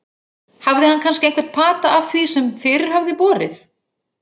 Hafði hann kannski einhvern pata af því sem fyrir hafði borið?